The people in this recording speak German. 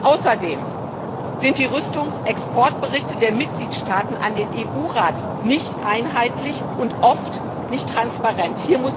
Außerdem sind die Rüstungsexportberichte der Mitgliedstaaten an den Rat nicht einheitlich und oft nicht transparent.